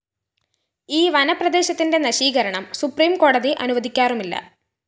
ഈ വനപ്രദേശത്തിന്റെ നശീകരണം സുപ്രീംകോടതി അനുവദിക്കാറുമില്ല